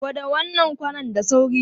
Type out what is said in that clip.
Kwada wannan kwanan da sauri!